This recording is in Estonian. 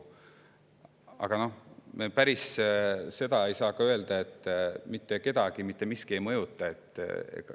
Aga päris nii ei saa ka öelda, et mitte kedagi mitte miski ei mõjuta.